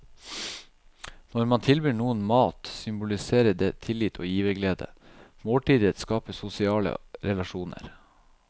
Når man tilbyr noen mat symboliserer det tillit og giverglede, måltidet skaper sosiale relasjoner.